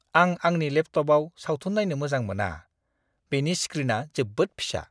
आं आंनि लेपटपआव सावथुन नायनो मोजां मोना। बेनि स्क्रिना जोबोद फिसा।